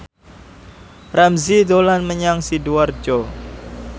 Ramzy dolan menyang Sidoarjo